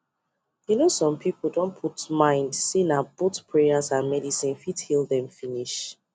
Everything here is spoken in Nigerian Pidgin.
you know some people don put mind say na both prayers and medicine fit heal them finish